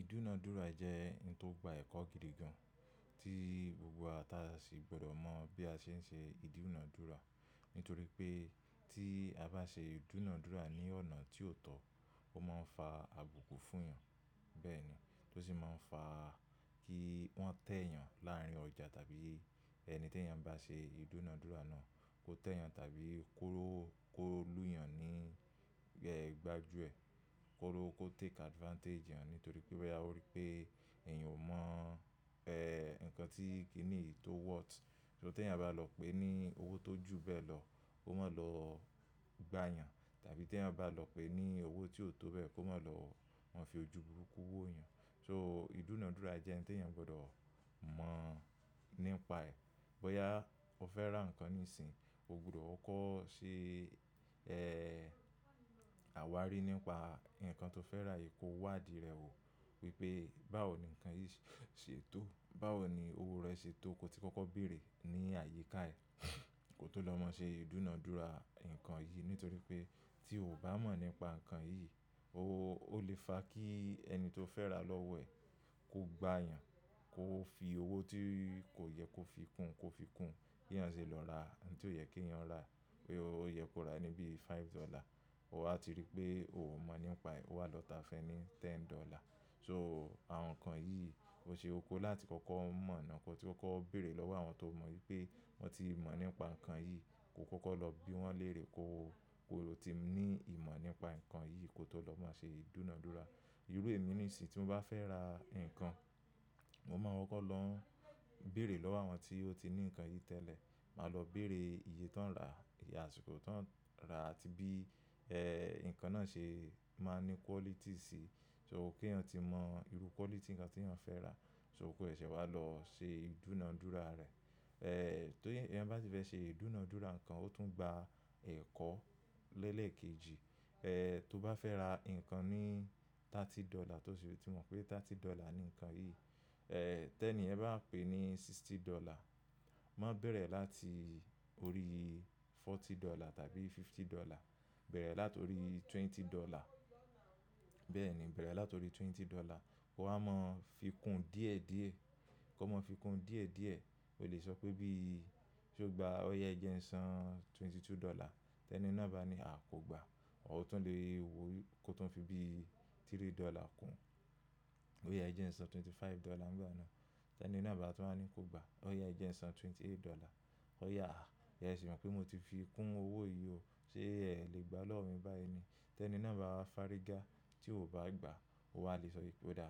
Ìdúnadúrà jẹ́ ohun tó gba ẹ̀kọ́ gidi gan, tí gbogbo wa ta sì gbọ́dọ̀ mọ bí a ṣe ń ṣe ìdúnadúrà. Nítorí pé tí a bá ṣe ìdúnadúrà ní ọ̀nà tí ó tọ́, ó máa ń fa àbùkù fún ènìyàn. Bẹ́ẹ̀ ni o sì máa ń fa kí wọ́n tẹ́ ènìyàn láàrin ọjà tàbí ẹni tí èeyàn bá ṣe ìdúnadúrà náà kó tẹ́ ẹeyan tàbí kó lù yàn ní gbajú ẹ, kó take advantage eeyàn. Nítorí pé boya o rí pé ènìyàn ò mọ̀ ǹkan tí kì níyí to worth. Ṣo tí ènìyàn bá lọ pé ní owó tó ju bẹ́ẹ̀ lọ, kó mo lọ gbá eeyan. Tàbí tí eeyan bá lọ pé ní owó tí ò tó bẹ́ẹ̀, kó máa lọ fi ojú burúkú wó ènìyàn. So ìdúnadúrà jẹ́ ǹkan tí ènìyàn gbọ́dọ̀ mọ̀ nípa ẹ̀. Bóyá o fẹ́ ra ǹkan ní ìsìn, o gbọ́dọ̀ koko ṣe àwárí nípa ǹkan tó fẹ́ rà yìí kó wá dì rẹ̀ wò wípé báwo nìkan yìí ṣe tó, báwo ni owó rẹ̀ ṣe tó kó tí kọ́kọ́ béèrè ní àyíká ẹ̀ kó tó lọ mọ̀ ṣe ìdúnadúrà ǹkan yìí. Nítorí pé tí o ò bá mọ̀ nípa ǹkan yìí, ó lè fa kí ẹni tó fẹ́ ra lọ́wọ́ ẹ̀ kó gbáa ènìyàn kó fi owó tí kò yẹ kó fi kún kó fi kún kí eeyan ṣi lọ ra ǹkan tí ó yẹ kí èeyàn rà. Pé ó yẹ kó rà níbí five dollar, owà ti rí pé ò mọ̀ nípa ẹ̀, ó wá lọ tà fun ẹ́ ní ten dollar. So àwọn ǹkan yìí, o ṣe kókó láti kọ́kọ́ mọ̀ na kotí kọ́kọ́ béèrè lọ́wọ́ àwọn tó mọ̀ wípé wọ́n ti mọ̀ nípa ǹkan yìí. Kó kọ́kọ́ lọ bí wọ́n lérè kó, kó tí ní ìmọ̀ nípa ǹkan yìí kó tó lọ mọ̀ ṣe ìdúnadúrà. Irú èmi ní ìsìn tí mo bá fẹ́ ra ǹkan, mo máa nkọ́ko lọ béèrè lọ́wọ́ àwọn tí ó ti ní ǹkan yìí tẹ́lẹ̀. Máa lọ béèrè iye tó ń rà. Asiko tó ń rà àti bí ǹkan náà ṣe máa ní quality sí. So kí èeyàn tí mọ̀ irú quality ǹkan tí èeyàn fẹ́ rà, so kó sèsẹ̀ wá lọ ṣe ìdúnadúrà rẹ̀. Ti èeyàn bá sì fẹ́ ṣe ìdúnadúrà ǹkan, ó tún gba ẹ̀kọ́ lẹ́lẹ̀kejì. Tó o bá fẹ́ ra ǹkan ní thirty dollar tó sì tí mọ̀ pé thirty dollar ni ǹkan yìí. Tẹ ni yẹn báwa pé ní sixty dollar, máa bẹ̀rẹ̀ láti orí forty dollar tàbí fifty dollar. Bẹ̀rẹ̀ láti orí twenty dollar. Bẹ́ẹ̀ ni, bẹ̀rẹ̀ láti orí twenty dollar. Owá mọ fi kún díẹ̀ díẹ̀ kí ó máa fi kún díẹ̀ díẹ̀. O lè sọ pé bí, ṣe ó gba ọ̀yà Ẹ jẹ ń san twenty two dollar. Ti eni ná bá ní àa kò gba. Ọ̀ tún lè wo kó tó fi bí three dollar kún. Ọ̀yà Ẹ jẹ ń san twenty five dollar nígbà náà. Tẹ ni ná bá tún máa ní kó gba. Ọ̀yà Ẹ jẹ ń san twenty eight dollar. Ọ̀yà, ẹ̀ sì mọ̀ pé mo ti fi kún owó yìí o. Sé è le gbà lọ́wọ́ mi báyi ni. Tẹ ni iná bá wá fariga tí o ò bá gba. O wà á le sọ wípé, odá